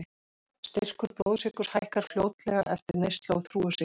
Styrkur blóðsykurs hækkar fljótlega eftir neyslu á þrúgusykri.